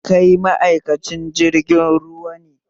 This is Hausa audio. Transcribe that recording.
Kai ma'aikacin jirgin ruwa ne?